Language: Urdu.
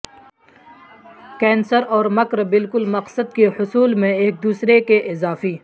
کینسر اور مکر بالکل مقصد کے حصول میں ایک دوسرے کے اضافی